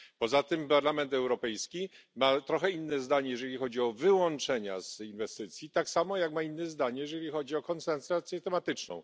Poza tym Parlament Europejski ma trochę inne zdanie, jeżeli chodzi o wyłączenia z inwestycji, tak samo jak ma inne zdanie, jeżeli chodzi o koncentrację tematyczną.